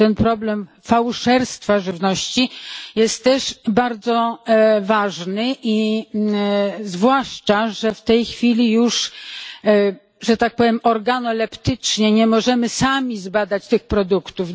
Ten problem fałszerstwa żywności jest też bardzo ważny, zwłaszcza, że w tej chwili już że tak powiem organoleptycznie nie możemy sami zbadać tych produktów.